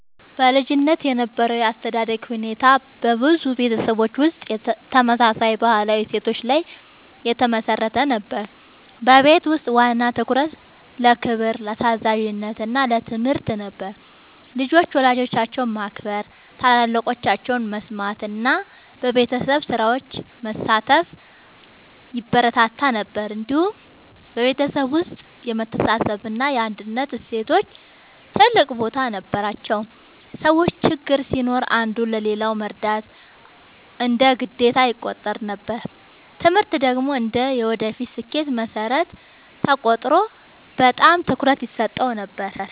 በልጅነት የነበረው የአስተዳደግ ሁኔታ በብዙ ቤተሰቦች ውስጥ ተመሳሳይ ባህላዊ እሴቶች ላይ የተመሠረተ ነበር። በቤት ውስጥ ዋና ትኩረት ለክብር፣ ለታዛዥነት እና ለትምህርት ነበር። ልጆች ወላጆቻቸውን ማክበር፣ ታላላቆቻቸውን መስማት እና በቤተሰብ ስራዎች መሳተፍ ይበረታታ ነበር። እንዲሁም በቤተሰብ ውስጥ የመተሳሰብ እና የአንድነት እሴቶች ትልቅ ቦታ ነበራቸው። ሰዎች ችግር ሲኖር አንዱ ለሌላው መርዳት እንደ ግዴታ ይቆጠር ነበር። ትምህርት ደግሞ እንደ የወደፊት ስኬት መሠረት ተቆጥሮ በጣም ትኩረት ይሰጠው ነበር።